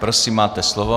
Prosím, máte slovo.